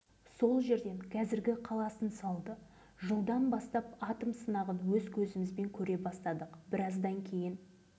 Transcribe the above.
жарылыс болардан бір күн бұрын хабарлайды ертеңінде айтылған мерзімде есік-терезелерімізді жапқанымыз жауып жаппағанымыз ашық тастап жардың астына барып